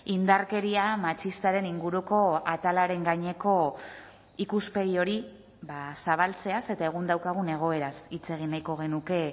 indarkeria matxistaren inguruko atalaren gaineko ikuspegi hori zabaltzeaz eta egun daukagun egoeraz hitz egin nahiko genuke